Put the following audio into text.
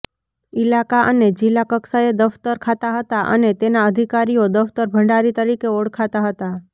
ઈલાકા અને જિલ્લા કક્ષાએ દફતર ખાતાં હતાં અને તેનાં અધિકારીઓ દફતરભંડારી તરીકે ઓળખતા હતા